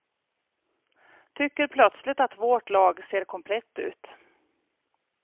Tycker plötsligt att vårt lag ser komplett ut.